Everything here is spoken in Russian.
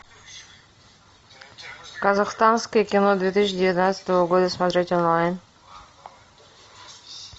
казахстанское кино две тысячи девятнадцатого года смотреть онлайн